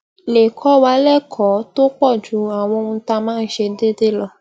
lè kó wa lékòó tó pò ju àwọn ohun tá a máa ń ṣe déédéé lọ